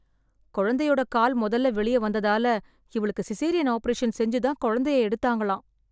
கொழந்தையோட கால் மொதல்ல வெளியே வந்ததால, இவளுக்கு சிசேரியன் ஆப்பரேஷன் செஞ்சுதான் கொழந்தைய எடுத்தாங்களாம்.